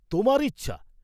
তোমার ইচ্ছা!